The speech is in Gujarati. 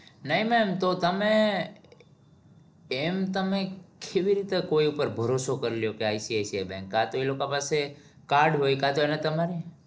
નહિ ma'am તો તમે કેમ તમે કેવી રીતે કોઈ ઉપર ભરોસો કરી લ્યો કે ICICI bank આ તો એ લોક પાસે card કાતો એને તમારી